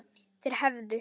Þeir hefðu